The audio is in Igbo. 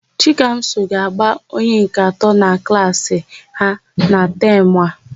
Chikamso ga-agba onye nke atọ na klaasị ha na tamụ a.